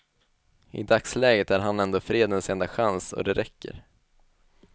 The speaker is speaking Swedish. I dagsläget är han ändå fredens enda chans, och det räcker.